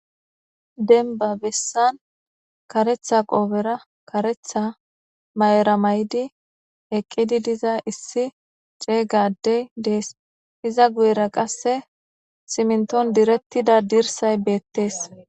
Denba bessan karetha qoobera karetha may'era may'di eqqidi diza issi ceeygadey dees iza guyera qasse simnton direttida dirsay beettees.